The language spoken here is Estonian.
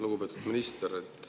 Lugupeetud minister!